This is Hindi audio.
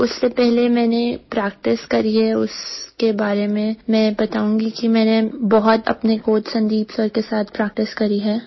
जो उससे पहले मैंने प्रैक्टिस करी है उसके बारे में मैं बताऊँगी कि मैंने बहुत अपने कोच संदीप सिर के साथ प्रैक्टिस करी है